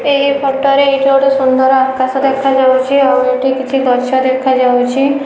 ଏହି ଫଟୋ ରେ ଏଇଠି ଗୋଟେ ସୁନ୍ଦର ଆକାଶ ଦେଖା ଯାଉଚି ଆଉ ଏଇଠି କିଛି ଗଛ ଦେଖା ଯାଉଚି।